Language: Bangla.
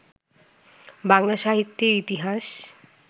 বাংলা সাহিত্যের ইতিহাস